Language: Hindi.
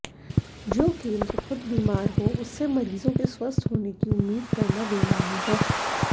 जो केंद्र खुद बीमार हो उससे मरीजों के स्वस्थ होने की उम्मीद करना बेमानी है